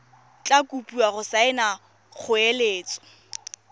tla kopiwa go saena kgoeletso